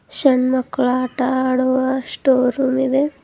ಸಣ್ಣ ಮಕ್ಕಳ ಆಟ ಆಡುವ ಸ್ಟೋರ್ ರೂಮ್ ಇದೆ.